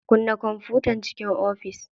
Kunna kwamfutan ciki ofis.